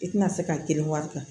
I tina se ka kelen wari ta